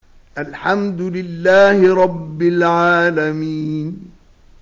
الْحَمْدُ لِلَّهِ رَبِّ الْعَالَمِينَ